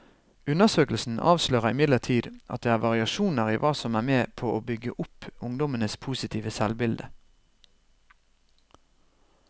Undersøkelsen avslører imidlertid at det er variasjoner i hva som er med på å bygge opp ungdommenes positive selvbilde.